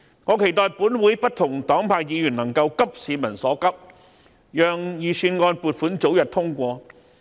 我期待立法會不同黨派的議員能夠急市民所急，讓預算案撥款早日通過。